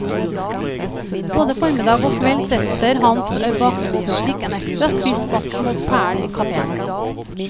Både formiddag og kveld setter hans bakgrunnsmusikk en ekstra spiss på atmosfæren i kaféen.